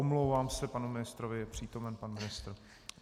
Omlouvám se panu ministrovi, je přítomen pan ministr.